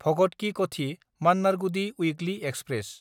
भगत कि कथि–मान्नारगुदि weekly express